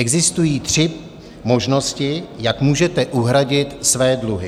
Existují tři možnosti, jak můžete uhradit své dluhy.